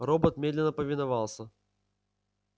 робот медленно повиновался